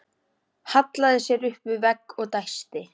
Hallaði sér upp að vegg og dæsti.